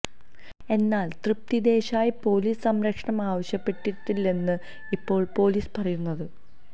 എന്നാല് തൃപ്തി ദേശായി പോലീസ് സംരക്ഷണം ആവശ്യപ്പെട്ടിട്ടില്ലെന്നാണ് ഇപ്പോള് പോലീസ് പറയുന്നത്